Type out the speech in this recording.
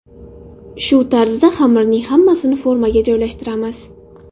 Shu tarzda xamirning hammasini formaga joylashtiramiz.